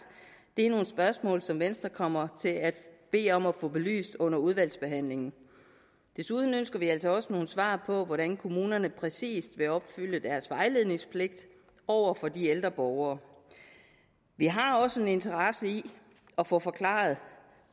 det er nogle spørgsmål som venstre kommer til at bede om at få belyst under udvalgsbehandlingen desuden ønsker vi altså også nogle svar på hvordan kommunerne præcist vil opfylde deres vejledningspligt over for de ældre borgere vi har også en interesse i at få forklaret